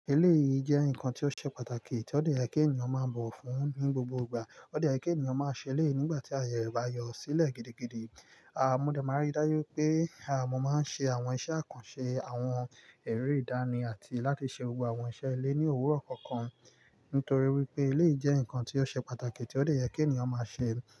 Eleyi jẹ́ ǹkan tí ó ṣe pàtàkì tí ó de yẹ́ kí ènìyàn máa bọ̀ wọ̀ fún ní gbogbo ìgbà, ó dè yẹ́ kí ènìyàn máa ṣe eléyi nígbà tí ayẹ re bá yọ sílẹ̀ gidigidi. Mọ́ dẹ̀ màá n rí dájú wipé, mọ́ máa ń ṣe àwọn iṣẹ́ àkànṣe àwọn eré ìdánì àti láti ṣe gbogbo àwọn iṣẹ́ ilé ní òwúrọ̀ kọ̀ọ̀kan. Nítorí wípé ilé jẹ́ ǹkan tí ó ṣe pàtàkì tí ó lè jẹ́ kí ènìyàn máa ṣe.